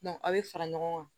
a bɛ fara ɲɔgɔn kan